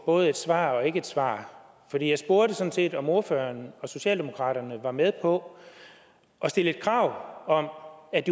både et svar og ikke et svar for jeg spurgte sådan set om ordføreren fra socialdemokraterne var med på at stille krav om at